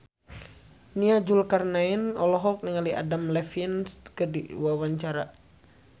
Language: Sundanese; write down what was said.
Nia Zulkarnaen olohok ningali Adam Levine keur diwawancara